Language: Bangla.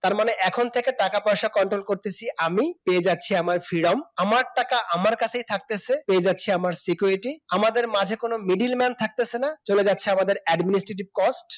তার মানে এখন থেকে টাকা পয়সা control করতেছি আমি পেয়ে যাচ্ছি আমার freedom আমার টাকা আমার কাছেই থাকতেছে যাচ্ছে আমার security আমাদের মাঝে কোন middleman থাকতেছে না চলে গেছে আমাদের administrative cost